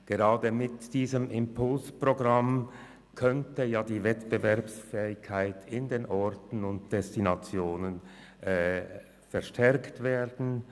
Gerade mit diesem Impulsprogramm könnte die Wettbewerbsfähigkeit in den Orten und Destinationen gestärkt werden.